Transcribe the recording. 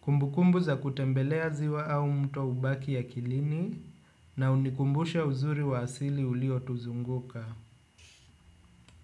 Kumbu kumbu za kutembelea ziwa au mto ubaki ya kilini na unikumbusha uzuri wa asili ulio tuzunguka.